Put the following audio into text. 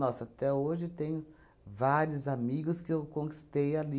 até hoje tenho vários amigos que eu conquistei ali.